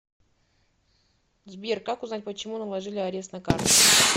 сбер как узнать почему наложили арест на карту